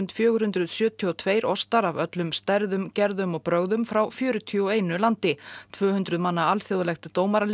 fjögur hundruð sjötíu og tvö ostar af öllum stærðum gerðum og brögðum frá fjörutíu og einu landi tvö hundruð manna alþjóðlegt